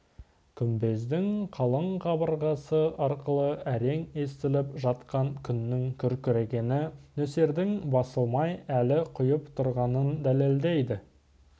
күмбездің қалың қабырғасы арқылы әрең естіліп жатқан күннің күркірегені нөсердің басылмай әлі құйып тұрғанын дәлелдейді